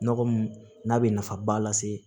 Nɔgɔ mun n'a bɛ nafaba lase